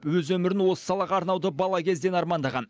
өз өмірін осы салаға арнауды бала кезден армандаған